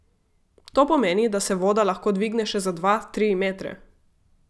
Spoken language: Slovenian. To pomeni, da se voda lahko dvigne še za dva, tri metre.